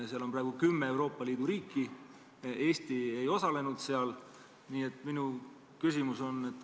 Ma viitasin sellele, et kui Eesti Post tõstab hinda, siis inimesed peavad ühel hetkel otsustama, kas mitte tellimustest loobuda selle tõttu, et kojukande hind lehe tellimishinnas läheb nii kõrgeks.